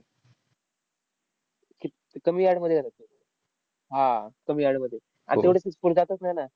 ते कमी yard मध्ये हा, कमी yard मध्ये. आणि तेवढासा score जातच नाही ना.